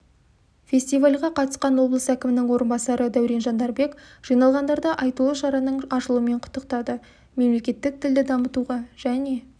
фестивальға қатысқан облыс әкімінің орынбасары дәурен жандарбек жиналғандарды айтулы шараның ашылуымен құттықтады мемлекеттік тілді дамытуға және